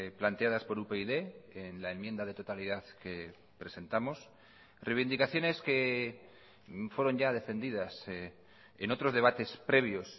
planteadas por upyd en la enmienda de totalidad que presentamos reivindicaciones que fueron ya defendidas en otros debates previos